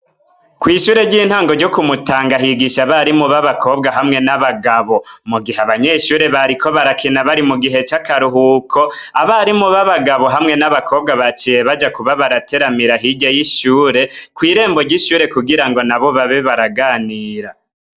Kw'ishure ry'intango ryo kumutanga ahigisha abari mu ba abakobwa hamwe n'abagabo, mu gihe abanyeshure bariko barakina bari mu gihe c'akaruhuko, abari mu be bagabo hamwe n'abakobwa baciye baja kuba barateramira hirye y'ishure, kw'irembo ry'ishure kugira ngo na bo babe baraganira.